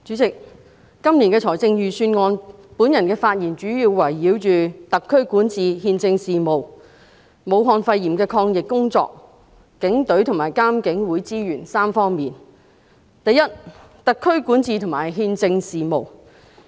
主席，關於今年的財政預算案，我的發言主要圍繞特區管治和憲政事務，武漢肺炎的抗疫工作，以及警隊和獨立監察警方處理投訴委員會的資源3方面。